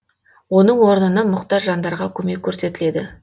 оның орнына мұқтаж жандарға көмек көрсетіледі